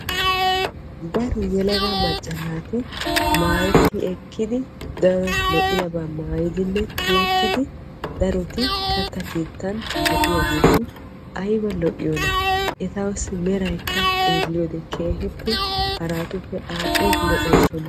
Daro yelaga macca naati maayetti ekkiddi daro lo'iyaaba maayiddi tiyettiddi katta keettan de'iyaagetti aybba lo'iyoonna ettawu meray xeelliyoode keehippe lo'ees.